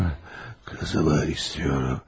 Qızım, qızım Haristeyum.